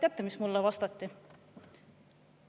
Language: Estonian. " Ja teate, mis mulle vastati?